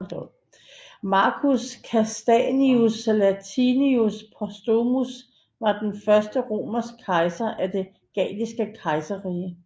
Marcus Cassianius Latinius Postumus var den første romerske kejser af det Galliske Kejserrige